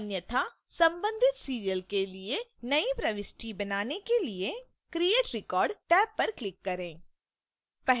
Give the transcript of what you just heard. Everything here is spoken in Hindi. अन्यथा संबंधित serial के लिए एक नई प्रविष्टि बनाने के लिए create record टैब पर click करें